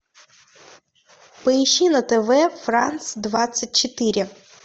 поищи на тв франс двадцать четыре